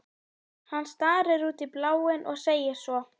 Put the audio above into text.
Hann starir út í bláinn og segir svo